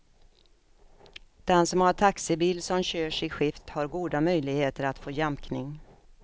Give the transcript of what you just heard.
Den som har taxibil som körs i skift har goda möjligheter att få jämkning.